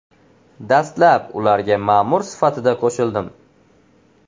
Dastlab ularga ma’mur sifatida qo‘shildim.